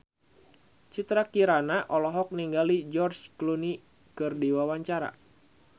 Citra Kirana olohok ningali George Clooney keur diwawancara